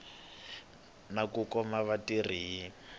na ku khoma vatirhi hi